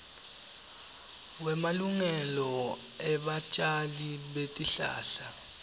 wemalungelo ebatjali betihlahla